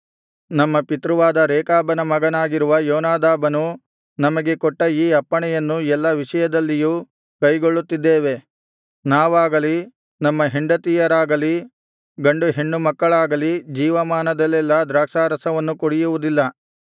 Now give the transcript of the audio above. ನಮ್ಮ ಪಿತೃವಾದ ರೇಕಾಬನ ಮಗನಾಗಿರುವ ಯೋನಾದಾಬನು ನಮಗೆ ಕೊಟ್ಟ ಈ ಅಪ್ಪಣೆಯನ್ನು ಎಲ್ಲಾ ವಿಷಯದಲ್ಲಿಯೂ ಕೈಗೊಳ್ಳುತ್ತಿದ್ದೇವೆ ನಾವಾಗಲಿ ನಮ್ಮ ಹೆಂಡತಿಯರಾಗಲಿ ಗಂಡು ಹೆಣ್ಣುಮಕ್ಕಳಾಗಲಿ ಜೀವಮಾನದಲ್ಲೆಲ್ಲಾ ದ್ರಾಕ್ಷಾರಸವನ್ನು ಕುಡಿಯುವುದಿಲ್ಲ